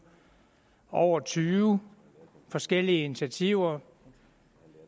over tyve forskellige initiativer